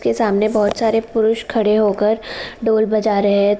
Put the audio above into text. सब के सामने बहुत सारे पुरुस खड़े हो कर ढोल बाजा रहे हैं।